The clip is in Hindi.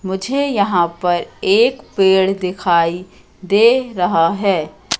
मुझे यहां पर एक पेड़ दिखाई दे रहा है।